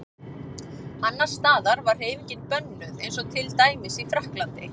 Annars staðar var hreyfingin bönnuð eins og til dæmis í Frakklandi.